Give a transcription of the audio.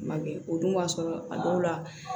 Ma kɛ o dun b'a sɔrɔ a dɔw la